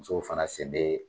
Musow fana sen be